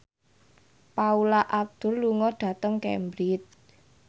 Paula Abdul lunga dhateng Cambridge